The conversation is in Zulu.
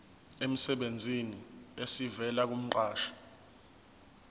emsebenzini esivela kumqashi